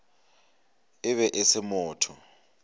e be e se motho